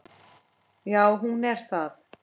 Já, hún er það.